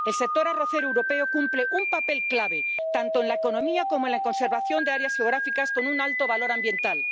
El sector arrocero europeo cumple un papel clave tanto en la economía como en la conservación de áreas geográficas con un alto valor ambiental.